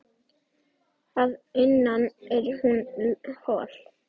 Að innan er hún hol.